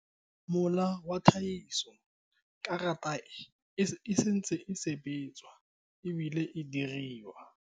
Production queue. The card is still being processed and manufactured.